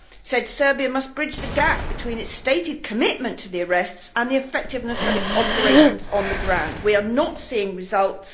said that Serbia needed to bridge the gap between its stated commitment to the arrests and the effectiveness of its operations on the ground. We are not seeing results.